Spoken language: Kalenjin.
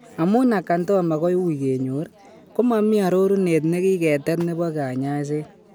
Amun acanthoma koui kenyor, ko mami arorunet negigetet nebo kanyaiset